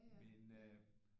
Men øh